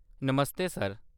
नमस्ते sir.